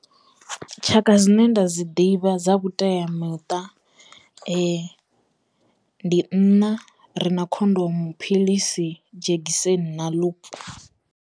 Tshaka dzine nda dzi ḓivha dza vhuteamiṱa ndi nṋa ri na khondomu, philisi, dzhegiseni na lup.